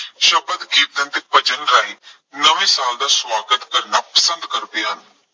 ਕੀਰਤਨ, ਭਜਨ ਗਾਇਨ, ਨਵੇਂ ਸਾਲ ਦਾ ਸਵਾਗਤ ਕਰਨਾ ਪਸੰਦ ਕਰਦੇ ਹਨ।